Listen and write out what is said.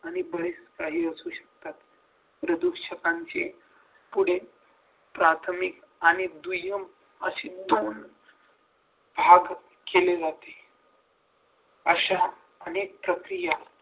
आणि बरच काही असू शकतात प्रदूषकांचे पुढील प्राथमिक आणि दुय्यम अशी मूल्यांक भाग केले जाते अशा अनेक प्रक्रिया